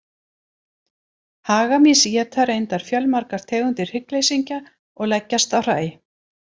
Hagamýs éta reyndar fjölmargar tegundir hryggleysingja og leggjast á hræ.